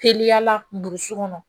Teliyala burusu kɔnɔ